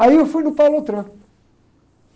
Aí eu fui no.